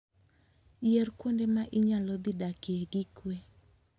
Yier kuonde ma inyalo dhi dakie gi kuwe.